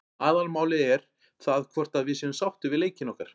Aðalmálið er það hvort að við séum sáttir við leikinn okkar.